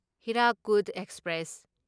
Hirakud express